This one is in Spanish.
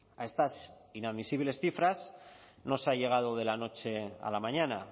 a estas inadmisibles cifras no se ha llegado de la noche a la mañana